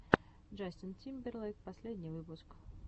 джастин тимберлейк последний выпуск